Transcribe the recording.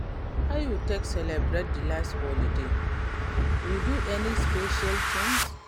How you take celebrate di last holiday, you do any special thing?